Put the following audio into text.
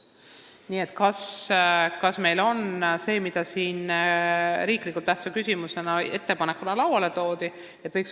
Nii et kas meil on vaja seda, mis meile siin riiklikult tähtsa küsimusena või ettepanekuna lauale toodi?